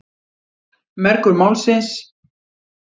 Mergur málsins.